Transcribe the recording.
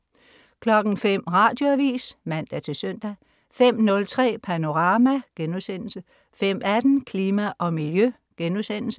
05.00 Radioavis (man-søn) 05.03 Panorama* 05.18 Klima og Miljø*